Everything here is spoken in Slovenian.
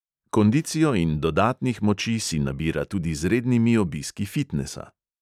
Kondicijo in dodatnih moči si nabira tudi z rednimi obiski fitnesa.